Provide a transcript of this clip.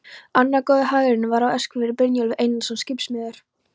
Annar góður hagyrðingur var á Eskifirði, Brynjólfur Einarsson skipasmiður.